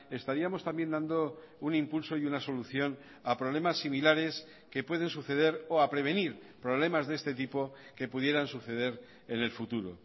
estaríamos también dando un impulso y una solución a problemas similares que puede suceder o a prevenir problemas de este tipo que pudieran suceder en el futuro